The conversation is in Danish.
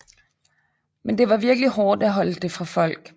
Men det var virkelig hårdt at holde det fra folk